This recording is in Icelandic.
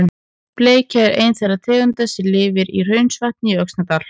Bleikja er ein þeirra tegunda sem lifir í Hraunsvatni í Öxnadal.